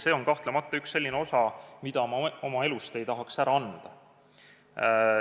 See on kahtlemata üks selline osa, mida ma oma elust ei tahaks ära anda.